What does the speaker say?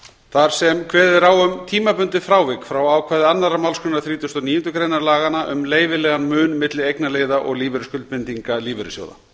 þar sem kveðið er á um tímabundið frávik frá ákvæði annarrar málsgreinar þrítugustu og níundu greinar laganna um leyfilegan mun milli eignarliða og lífeyrisskuldbindinga lífeyrissjóða